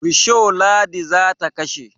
Risho Ladi za ta kashe.